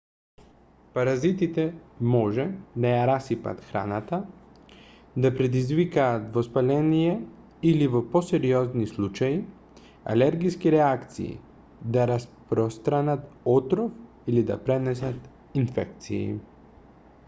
паразитите може да ја расипат храната да предизвикаат воспаление или во посериозни случаи алергиски реакции да распространат отров или да пренесат инфекции